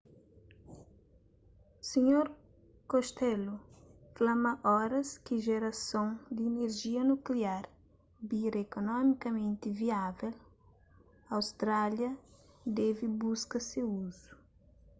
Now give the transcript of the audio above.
sr costello fla ma oras ki jerason di inerjia nukliar bira ekonomikamenti viável austrália debe buska se uzu